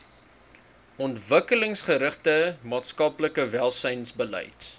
ontwikkelingsgerigte maatskaplike welsynsbeleid